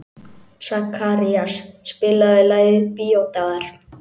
Sakarías, spilaðu lagið „Bíódagar“.